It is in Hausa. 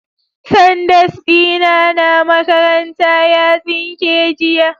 Sandas dina na makaranta ya tsinke jiya